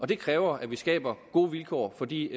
det kræver at vi skaber gode vilkår for de